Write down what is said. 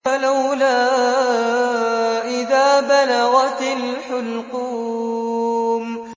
فَلَوْلَا إِذَا بَلَغَتِ الْحُلْقُومَ